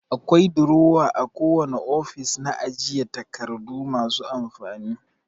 Akwai durowa a kowane ofis na ajiye takardu masu amfani.